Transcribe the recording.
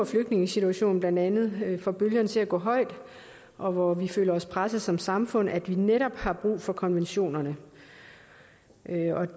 flygtningesituationen blandt andet får bølgerne til at gå højt og hvor vi føler os presset som samfund at vi netop har brug for konventionerne